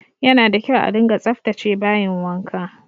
Yana da kyau a dunga tsaftace bayin wanka